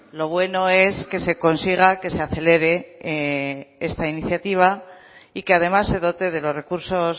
lo bueno es que se consiga que se acelere esta iniciativa y que además se dote de los recursos